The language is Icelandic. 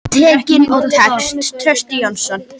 Teikning og texti: Trausti Jónsson.